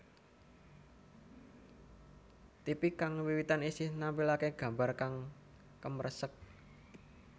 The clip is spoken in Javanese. Tipi kang wiwitan isih nampilake gambar kang kemresek